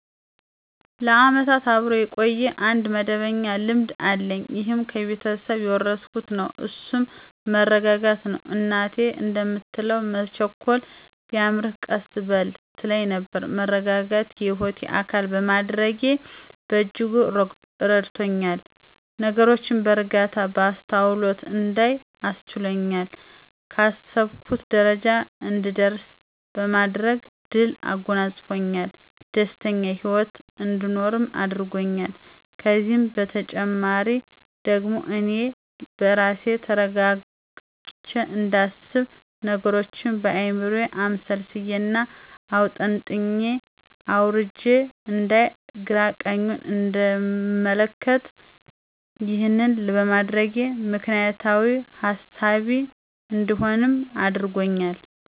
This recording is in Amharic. ለዓመታት አብሮ የቆየ አንድ መደበኛ ልማድ አለኝ ይህም ከቤተሰብ የወረስኩት ነው እሱም መረጋጋትን ነው። እናቴ እንደምትለው መቸኮል ቢያምርህ ቀስ በል ትል ነበር። መረጋጋትን የህይወቴ አካል በማድረጌ በእጅጉ ረድቶኛል፤ ነገሮችን በእርጋታ፣ በአስተውሎት እንዳይ አስችሎኛል፣ ካሰብኩት ጀረጃ እንድደርስ በማድረግ ድልን አጎናጸፅፎኛል፣ ደስተኛ ሂወትን አንድኖር አድርጎኛል። ከዚህም በተጨማሪ ደግሞ አኔ በራሴ ተረጋግቸ እንዳስብ፥ ነገሮችን በአይምሮየ አምሰልስየና አውጠንጥኘ አውርጀ አንዳይ፥ ግራና ቀኙን እንድመለከት፣ ይህን በማድረጌ ምክንያታዊ ሀሳቢ እንድሆንም አድርጎኛል።